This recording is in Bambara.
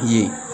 Ye